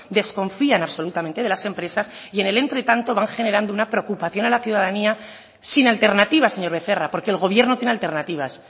desconfían absolutamente de las empresas y en el entretanto van generando una preocupación a la ciudadanía sin alternativas señor becerra porque el gobierno tiene alternativas